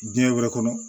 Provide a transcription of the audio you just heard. Diɲɛ wɛrɛ kɔnɔ